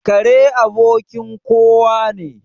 Kare abokin kowa ne.